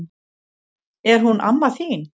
Er hún amma þín?